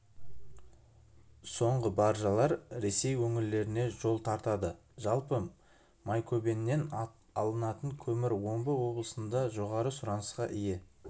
соңғы баржалар ресей өңірлеріне жол тартады жалпы майкөбеннен алынатын көмір омбы облысында жоғары сұранысқа ие